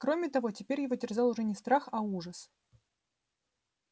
кроме того теперь его терзал уже не страх а ужас